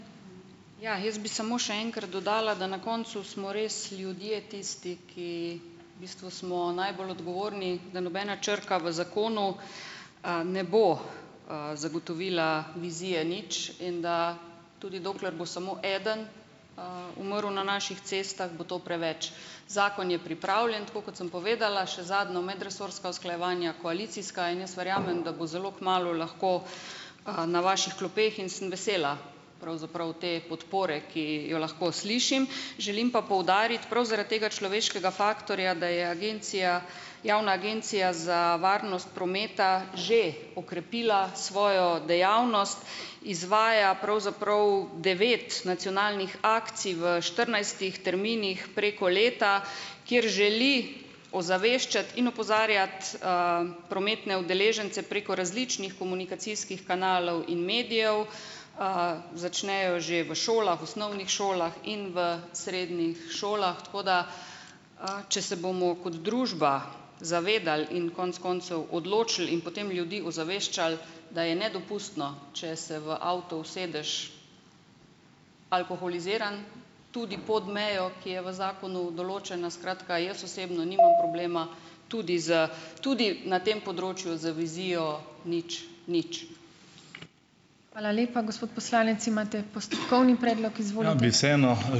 Ja, jaz bi samo še enkrat dodala, da na koncu smo res ljudje tisti, ki bistvu smo najbolj odgovorni, da nobena črka v zakonu ne bo, zagotovila vizije nič, in da tudi dokler bo samo eden, umrl na naših cestah, bo to preveč. Zakon je pripravljen, tako kot sem povedala, še zadnja medresorska usklajevanja koalicijska. In jaz verjamem, da bo zelo kmalu lahko, na vaših klopeh, in sem vesela pravzaprav te podpore, ki jo lahko slišim. Želim pa poudariti prav zaradi tega človeškega faktorja, da je agencija, Javna agencija za varnost prometa že okrepila svojo dejavnost. Izvaja pravzaprav devet nacionalnih akcij v štirinajstih terminih preko leta, kjer želi ozaveščati in opozarjati prometne udeležence preko različnih komunikacijskih kanalov in medijev, začnejo že v šolah, osnovnih šolah in v srednjih šolah. Tako da, če se bomo kot družba zavedali in konec koncev odločili in potem ljudi ozaveščali, da je nedopustno, če se v avto usedeš alkoholiziran, tudi pod mejo, ki je v zakonu določena. Skratka, jaz osebno nimam problema tudi s, tudi na tem področju z vizijo nič nič.